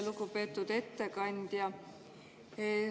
Lugupeetud ettekandja!